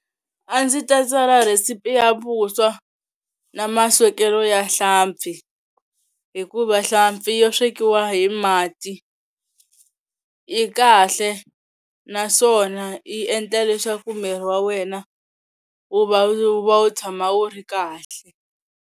A ndzi ta tsala recipe ya vuswa na maswekelo ya hlampfi hikuva hlampfi yo swekiwa hi mati yi kahle naswona yi endla leswaku miri wa wena wu va wu va wu tshama wu ri kahle.